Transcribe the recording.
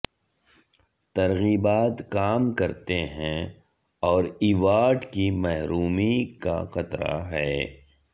ترغیبات کام کرتے ہیں اور ایوارڈ کی محرومی کا خطرہ ہے